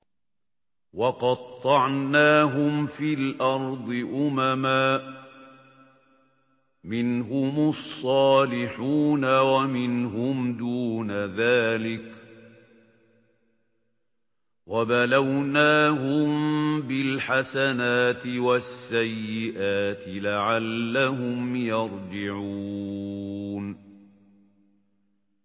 وَقَطَّعْنَاهُمْ فِي الْأَرْضِ أُمَمًا ۖ مِّنْهُمُ الصَّالِحُونَ وَمِنْهُمْ دُونَ ذَٰلِكَ ۖ وَبَلَوْنَاهُم بِالْحَسَنَاتِ وَالسَّيِّئَاتِ لَعَلَّهُمْ يَرْجِعُونَ